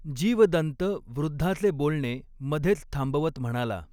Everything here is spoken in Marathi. जीवदन्त वृद्धाचे बोलणे मधेच थांबवत म्हणाला .